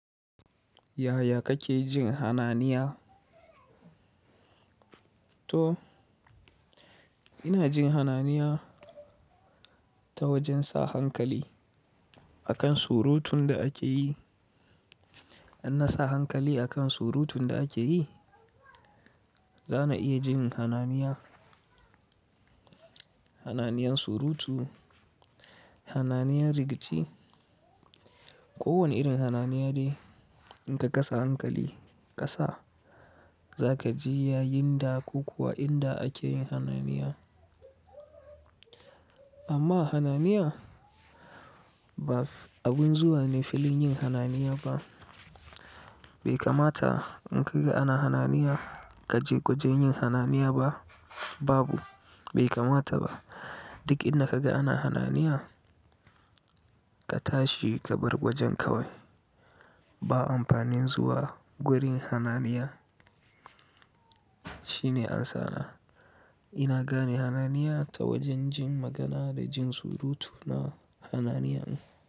Yaya kake jin hananiya? To ina jin hananiya ta wajen sa hankali akan surutun da ake yi. In na sa hankali akan surutun da ake yi, za na iya jin hananiya. Hananiyan surutu, hananiyan rigici, kowane irin hananiya dai In ka kasa hankali kasa, za ka ji yayinda ko kuwa inda ake yin hananiya. Amma hananiya, ba abun zuwa ne filin yin hananiya ba. Bai kamata in ka ga ana hananiya ka je gwajin yin hananiya ba, babu, bai kamata ba. Duk in da ka ga ana hananiya, ka tashi ka bar gwajin kawai. Ba amfanin zuwa gurin hananiya. Shine amsana. Ina gane hananiya ta wajen jin magana da jin surutu na hananiya.